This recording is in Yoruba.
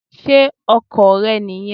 Ṣé ọkọ̀ rẹ nì yẹn?